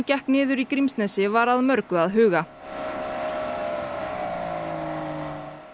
gekk niður í Grímsnesi var að mörgu að huga